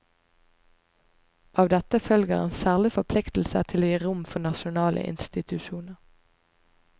Av dette følger en særlig forpliktelse til å gi rom for nasjonale institusjoner.